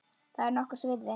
Það er nokkurs virði.